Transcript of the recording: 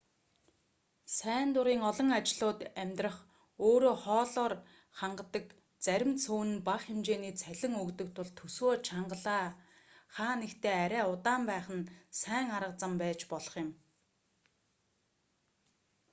сайн дурын олон ажлууд амьдрах өрөө хоолоор хангадаг зарим цөөн нь бага хэмжээний цалин өгдөг тул төсвөө чангалаа хаа нэгтээ арай удаан байх нь сайн арга зам байж болох юм